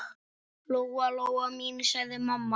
Lóa-Lóa mín, sagði mamma.